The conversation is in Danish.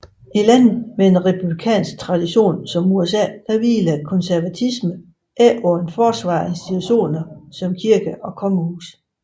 I lande med en republikansk tradition som USA hviler konservatismen ikke på et forsvar af institutioner som kirke og kongehus